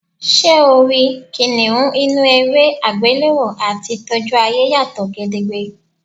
S̩e o rí kìnìún inú eré àgbéléwò àti tójú ayé yàtò̩ gedegbe.